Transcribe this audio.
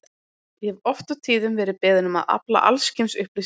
Ég hef oft og tíðum verið beðinn um að afla alls kyns upplýsinga um